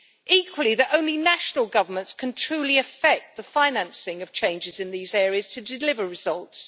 equally, that only national governments can truly effect the financing of changes in these areas to deliver results